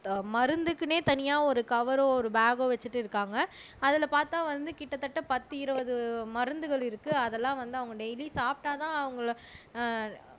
அஹ் மருந்துக்குன்னே தனியா ஒரு கவரோ ஒரு பேக்கோ வச்சிட்டு இருக்காங்க அதுல பார்த்தா வந்து கிட்டத்தட்ட பத்து இருபது மருந்துகள் இருக்கு அதெல்லாம் வந்து அவங்க டெய்லி சாப்பிட்டாதான் அவங்கள ஆஹ்